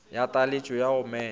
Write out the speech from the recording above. ya taletšo ya go mema